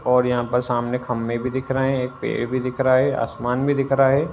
और यहाँ पर सामने खंभे भी दिख रहे हैं। एक पेड़ भी दिख रहा है। आसमान भी दिख रहा है।